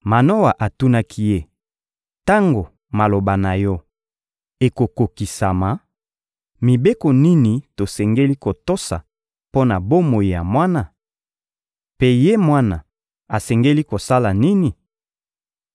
Manoa atunaki ye: — Tango maloba na yo ekokokisama, mibeko nini tosengeli kotosa mpo na bomoi ya mwana? Mpe ye mwana asengeli kosala nini?